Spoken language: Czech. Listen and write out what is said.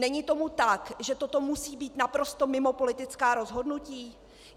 Není tomu tak, že toto musí být naprosto mimo politická rozhodnutí?